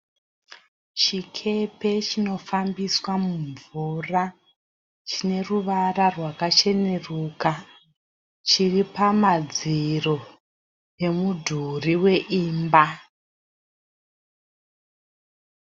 Chikepe chinofambiswa mumvura chine ruvara rwakacheneruka chiri pamadziro emudhuri weimba.